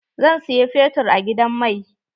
Zan siyi fetur a gidan mai.